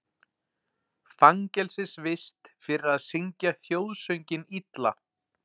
Fangelsisvist fyrir að syngja þjóðsönginn illa